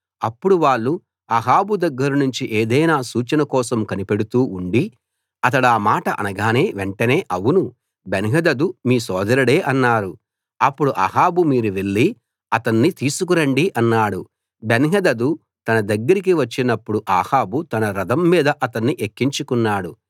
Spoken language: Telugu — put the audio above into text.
అప్పుడు వాళ్ళు అహాబు దగ్గర్నుంచి ఏదైనా సూచన కోసం కనిపెడుతూ ఉండి అతడా మాట అనగానే వెంటనే అవును బెన్హదదు మీ సోదరుడే అన్నారు అప్పుడు అహాబు మీరు వెళ్లి అతన్ని తీసుకు రండి అన్నాడు బెన్హదదు తన దగ్గరికి వచ్చినప్పుడు అహాబు తన రథం మీద అతన్ని ఎక్కించుకున్నాడు